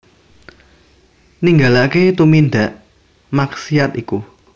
Ninggalaké tumindak maksiat iku